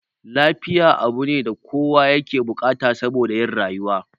Lafiya abune da kowa yake bukata saboda yin rayuwa